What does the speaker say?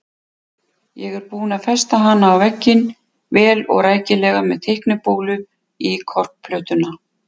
Ég er búinn að festa hana á vegginn, vel og rækilega með teiknibólu í korkplötuna.